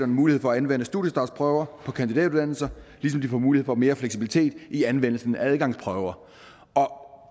mulighed for at anvende studiestartsprøver på kandidatuddannelser ligesom de får mulighed for mere fleksibilitet i anvendelsen af adgangsprøver